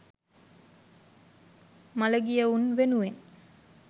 මළගියවුන් වෙනුවෙන්